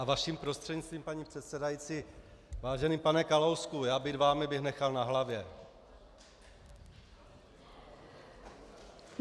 A vaším prostřednictvím, paní předsedající: Vážený pane Kalousku, já být vámi, bych nechal na hlavě.